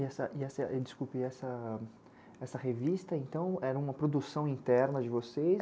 E essa, e essa, desculpa, e essa, essa revista, então, era uma produção interna de vocês?